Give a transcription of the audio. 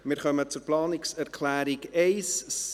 Wir kommen zuerst zur Planungserklärung 1.a.